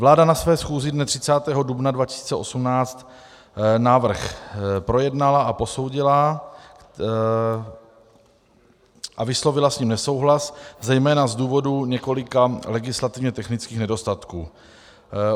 Vláda na své schůzi dne 30. dubna 2018 návrh projednala a posoudila a vyslovila s ním nesouhlas zejména z důvodů několika legislativně technických nedostatků.